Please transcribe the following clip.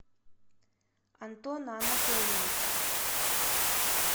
антона анатольевича